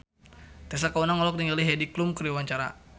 Tessa Kaunang olohok ningali Heidi Klum keur diwawancara